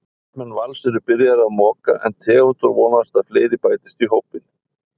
Starfsmenn Vals eru byrjaðir að moka en Theódór vonast að fleiri bætist í hópinn.